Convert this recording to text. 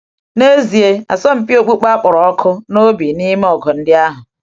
N’ezie, asọmpi okpukpe akpọrọ ọkụ n’obi n’ime ọgụ ndị ahụ.